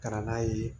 Ka na n'a ye